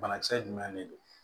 Banakisɛ jumɛn de don